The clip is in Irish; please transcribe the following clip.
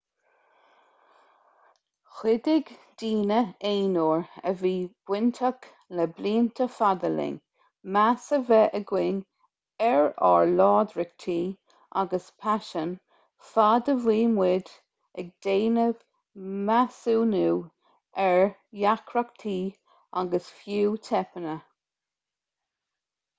chuidigh daoine aonair a bhí bainteach le blianta fada linn meas a bheith againn ar ár láidreachtaí agus paisin fad a bhí muid ag déanamh measúnú ar dheacrachtaí agus fiú teipeanna